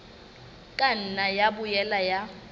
ka nna ya boela ya